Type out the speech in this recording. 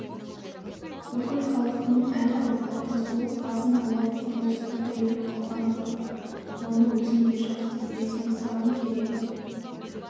бүкіл халықтың әл-әухаты сол азын-аулақ құрлысқа тіреліп қалған жоқ оны өзің де жақсы білесің саған керегі